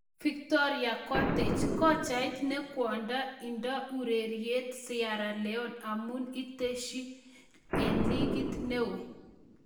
Victoria Conteh:Kochait ne kwondo ne indo ororutiet Sierra Leone amun inetishe en ligit ne oo.